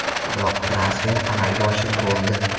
Biroq transfer amalga oshib bo‘ldi.